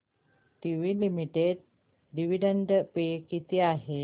TT limited dividend pay किती आहे